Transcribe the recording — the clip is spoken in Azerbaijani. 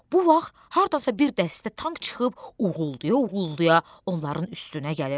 Bu vaxt hardansa bir dəstə tank çıxıb uğuldaya-uğuldaya onların üstünə gəlir.